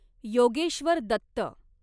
Yogeshwar Dutt